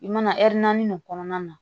I mana naani nin kɔnɔna na